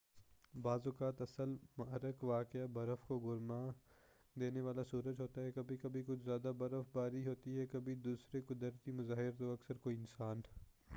بعض اوقات اصل محرک واقعہ برف کو گرما دینے والا سورج ہوتا ہے کبھی کبھی کچھ زیادہ برف باری ہوتی ہے کبھی دوسرے قدرتی مظاہر تو اکثر کوئی انسان